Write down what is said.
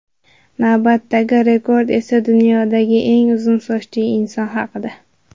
Navbatdagi rekord esa dunyodagi eng uzun sochli inson haqida.